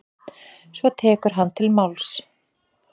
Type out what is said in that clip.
Svo tekur hann til máls: